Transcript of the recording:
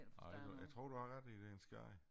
Nej det jeg tror du har ret i det en skade